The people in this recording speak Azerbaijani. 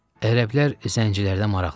Ərəblər zəncilərdə maraqlıdır.